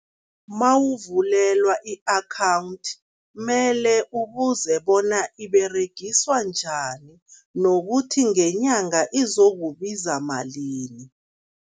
Mawuvulelwa i-akhawundi, mele ubuze bona iberegiswa njani nokuthi ngenyanga izokubiza malini.